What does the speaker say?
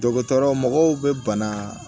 Dɔgɔtɔrɔ mɔgɔw bɛ bana